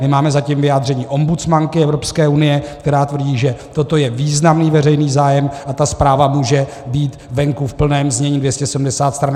My máme zatím vyjádření ombudsmanky Evropské unie, která tvrdí, že toto je významný veřejný zájem a ta zpráva může být venku v plném znění - 270 stran.